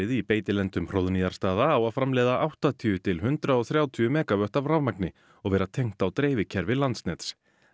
í beitilendum Hróðnýjarstaða á að framleiða áttatíu til eitt hundrað og þrjátíu megavött af rafmagni og vera tengt á dreifikerfi Landsnets